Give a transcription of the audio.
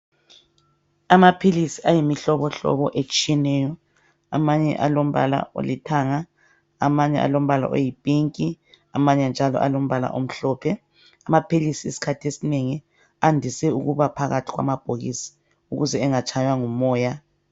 amaphilisi ayimihlobohlobo etshiyetshiyeneyo amanye alombala olithanga amanye alombala oyi pink amanye njalo alombala omhlophe amaphilisi isikhathi esinengi andise ukubaphakathi kwamabhokisi ukuze engatshaywa ngumoya